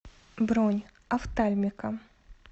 бронь офтальмика